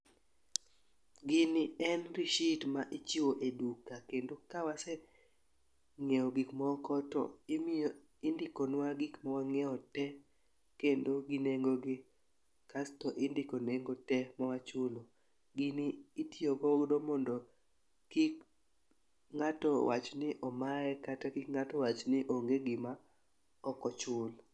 Gini en receipt ma ichiwo e duka kendo ka isenyiewo gik moko, to indikonwa gik ma wang'iewo te kendo gi nengogi, kasto indiko nengo te ma wachulo. Gini itiyogodo mondo kik ng'ato wach ni omaye kata kik ng'ato wach ni onge gima ok ochul.